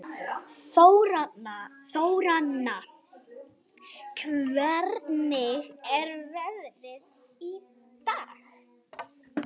Þóranna, hvernig er veðrið í dag?